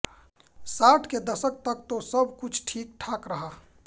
साठ के दशक तक तो सब कुछ ठीक ठाक रहा